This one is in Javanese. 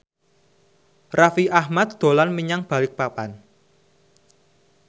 Raffi Ahmad dolan menyang Balikpapan